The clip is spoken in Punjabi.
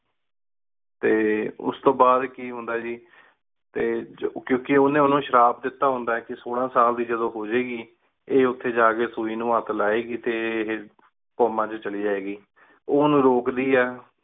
ਟੀ ਉਸ ਤੂੰ ਬਾਦ ਕੀ ਹੁੰਦਾ ਜੀ ਟੀ ਕੁੰ ਕੀ ਉਨੀਂ ਉਸ ਨੂ ਸ਼ਿਰਬ ਦੇਤਾ ਹੁੰਦਾ ਆਯ ਕੀ ਸੂਲਾਂ ਸਾਲ ਦੀ ਜਾਦੁਨ ਹੂ ਜੇ ਗੀ ਟੀ ਉਠੀ ਜਾ ਕੀ ਸੁਈ ਨੂ ਹੇਠ ਲੇ ਗੀ ਟੀ comma ਚ ਚਲੀ ਜੇ ਗੀ ਓ ਉਨੂ ਰੁਕਦੀ ਆਯ